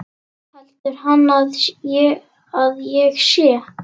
Heldur hann að ég sé.